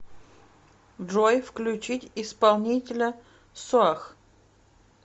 джой включить исполнителя соах